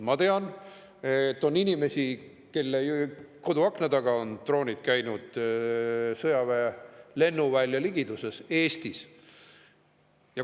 Ma tean, et Eestis on inimesi, kelle koduakna taga sõjaväe lennuvälja ligiduses on droonid käinud.